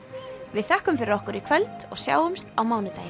við þökkum fyrir okkur í kvöld og sjáumst á mánudaginn